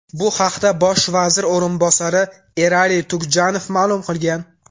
Bu haqda bosh vazir o‘rinbosari Erali Tugjanov ma’lum qilgan .